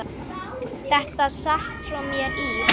Þetta sat svo í mér.